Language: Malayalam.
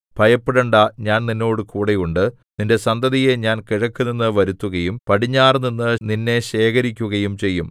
ഭയപ്പെടേണ്ടാ ഞാൻ നിന്നോടുകൂടെ ഉണ്ട് നിന്റെ സന്തതിയെ ഞാൻ കിഴക്കുനിന്ന് വരുത്തുകയും പടിഞ്ഞാറുനിന്ന് നിന്നെ ശേഖരിക്കുകയും ചെയ്യും